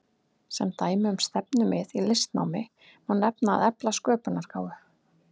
Sem dæmi um stefnumið í listnámi má nefna að efla sköpunargáfu.